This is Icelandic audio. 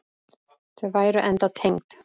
Þau væru enda tengd.